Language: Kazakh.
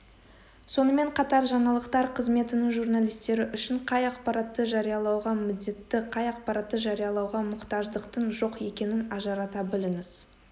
сонымен қатар жаңалықтар қызметінің журналистері үшін қай ақпаратты жариялауға міндетті қай ақпаратты жариялауға мұқтаждықтың жоқ екенін ажырата біліңіз